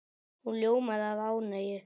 Hún ljómaði af ánægju.